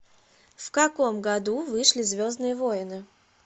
в каком году вышли звездные войны